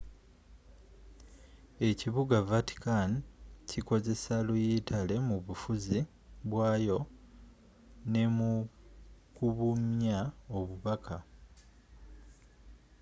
ekibuga vaticani kikozesa luyitale mu bufuzi bwayo ne mu kubunya obubaka